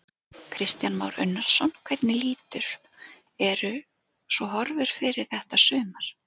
Kristján Már Unnarsson: Hvernig lítur, eru svo horfur fyrir þetta sumar?